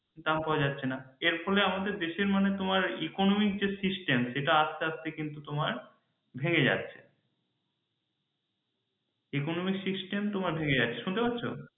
দাম পাওয়া যাচ্ছে না এর ফলে আমাদের দেশের মানে তোমার economic যে system সেটা আস্তে আস্তে কিন্তু তোমার ভেঙে যাচ্ছে economic system তোমার ভেঙে যাচ্ছে শুনতে পাচ্ছ?